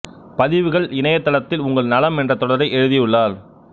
பதிவுகள் இணையத் தளத்தில் உங்கள் நலம் என்ற தொடரை எழுதியுள்ளார்